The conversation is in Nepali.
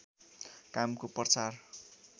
कामको प्रचार